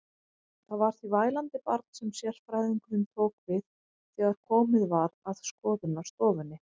Það var því vælandi barn sem sérfræðingurinn tók við þegar komið var að skoðunarstofunni.